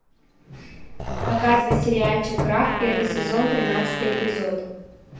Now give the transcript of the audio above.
показывай сериальчик крах первый сезон тринадцатый эпизод